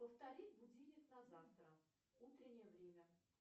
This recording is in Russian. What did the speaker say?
повторить будильник на завтра утреннее время